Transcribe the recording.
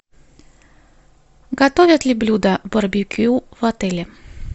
готовят ли блюда барбекю в отеле